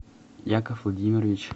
яков владимирович